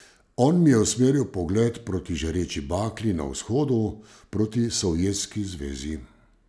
On mi je usmeril pogled proti žareči baklji na vzhodu, proti Sovjetski zvezi!